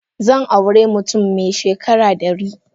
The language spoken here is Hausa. Zan aure mutum mai shekara dari.